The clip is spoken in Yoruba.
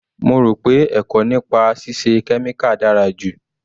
Mo rò pé ẹ̀kọ́ nípa ṣíṣe kẹ́míkà dára ju.